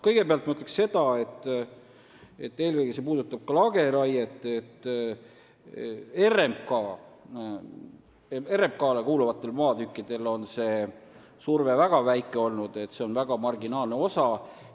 Kõigepealt ütlen seda – ja see puudutab eelkõige lageraiet –, et RMK-le kuuluvatel maatükkidel on surve väga väike olnud, jutt on väga marginaalsest osast.